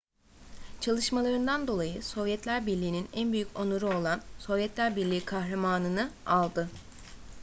çalışmalarından dolayı sovyetler birliği'nin en büyük onuru olan sovyetler birliği kahramanı nı aldı